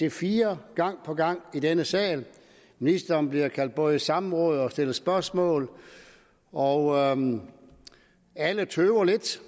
ic4 gang på gang i denne sal ministeren bliver kaldt både i samråd og stillet spørgsmål og alle tøver lidt